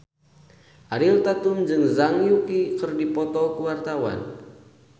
Ariel Tatum jeung Zhang Yuqi keur dipoto ku wartawan